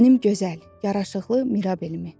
Mənim gözəl, yaraşıqlı Mirabelimi.